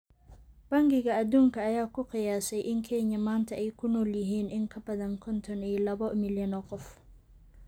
Bangiga Adduunka ayaa ku qiyaasay in Kenya maanta ay ku nool yihiin in ka badan konton iyo labo milyan oo qof.